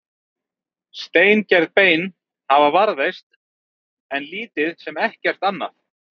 steingerð bein þeirra hafa varðveist en lítið sem ekkert annað